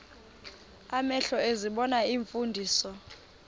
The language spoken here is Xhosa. amehlo ezibona iimfundiso